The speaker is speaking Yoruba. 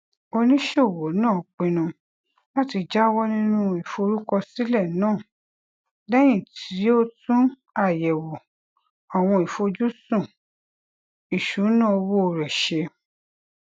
oníṣòwò náà pinnu láti jáwọ nínú ìforúkọsílẹ náà lẹyìn tí ó tún àyèwò àwọn ìfojúsùn ìṣúnná owó rẹ ṣe